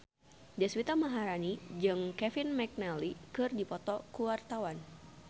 Deswita Maharani jeung Kevin McNally keur dipoto ku wartawan